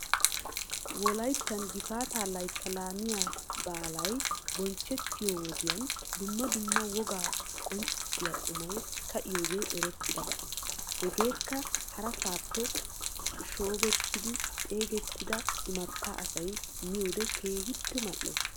Wolayttan gifaataa laytta laamiyaa baalay bonchchettiyoo woddiyan dumma dumma wogaa qonccissiyaa qumay ka'iyoogee erettidaba hegaaka harasaapp shoobettidi xeegettida imatta asay miyoode keehippe mal'es.